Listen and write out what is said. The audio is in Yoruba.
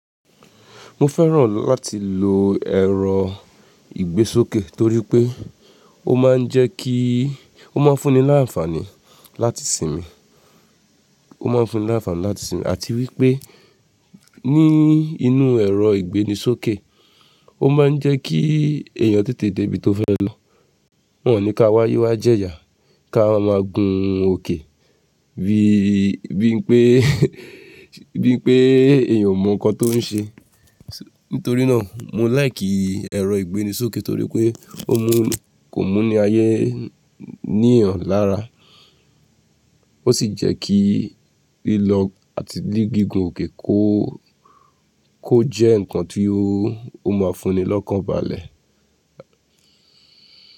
Mo fẹ́ràn láti lo ẹ̀rọ ìgbésókè torí pé ó máa ń jẹ́ kí, ó máa ń fún ni láàfàní láti sinmi, ó máa ń fún ni láàfàní láti sinmi àti wípé ní inú ẹ̀rọ ìgbéni sókè ó máa ń jẹ́ kí èèyàn tètè dé ibi tó fẹ́ lọ. Wọ́n ní ká wá ye wá jẹ ìyà, ká máa gun òkè bí, bí i pé, bí i pé èèyàn mọ nǹkan tó ń ṣe. Nítorí náà mo like ẹ̀rọ ìgbéni sókè torí pé ó mú, kò mú ni ayé ní èèyàn lára. Ó sì jẹ́ kí lílọ àti gígùn òkè kó, kó jẹ́ nǹkan tí ó, ó máa fún ni lọ́kàn balẹ̀.